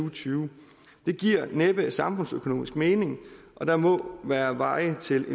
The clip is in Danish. og tyve det giver næppe samfundsøkonomisk mening og der må være veje til